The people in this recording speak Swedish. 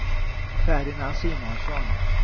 Ferdinand Simonsson